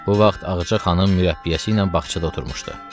Bu vaxt Ağca xanım mürəbbiyəsi ilə bağçada oturmuşdu.